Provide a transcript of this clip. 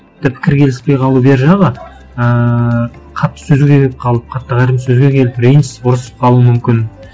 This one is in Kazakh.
пікір келіспей қалу бер жағы ыыы қатты сөзге келіп қалып қатты сөзге келіп ренжісіп ұрысып қалу мүмкін